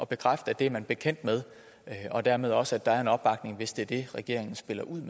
bekræfte at det er man bekendt med og dermed også at der er en opbakning hvis det er det regeringen spiller ud